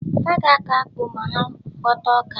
Ha ga-akọ akpu ma hà ghọta ọka.